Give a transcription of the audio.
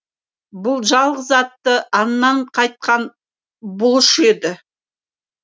бұл жалғыз атты аңнан қайтқан бұлыш еді